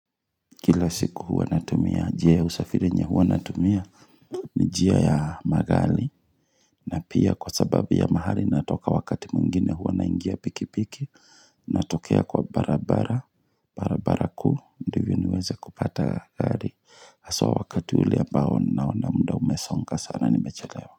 Kila siku huwa natumia njia ya usafiri yenye huwa natumia Nijia ya magari na pia kwa sababu ya mahali natoka wakati mwingine huwa naingia piki piki Natokea kwa barabara barabara kuu ndiyo niweze kupata gari haswa wakati ule ambao naona muda umesonga sana nimechelewa.